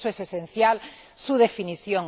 Por eso es esencial su definición.